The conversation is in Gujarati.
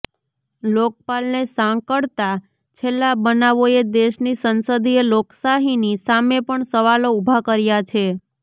લોકપાલને સાંકળતા છેલ્લા બનાવોએ દેશની સંસદીય લોકશાહીની સામે પણ સવાલો ઉભા કર્યા છે